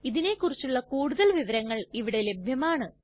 ഇതിനെ കുറിച്ചുള്ള കൂടുതൽ വിവരങ്ങൾ ഇവിടെ ലഭ്യമാണ്